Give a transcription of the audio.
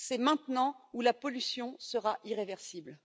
C'est maintenant ou la pollution sera irréversible.